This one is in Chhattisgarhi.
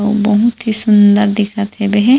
अम्म बहुत ही सुन्दर दिखत हेबे हे।